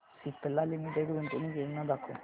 Cipla limited गुंतवणूक योजना दाखव